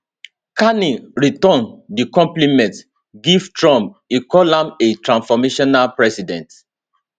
carney return di compliment give trump e call am a transformational president